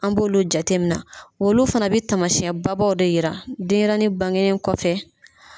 An b'olu jatemina , olu fana bɛ tamasiɲɛnba baw de jira denɲɛrɛnin bangenen kɔfɛ.